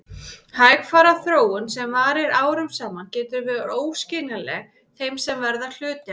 Hægfara þróun sem varir árum saman getur verið óskiljanleg þeim sem verða hluti af henni.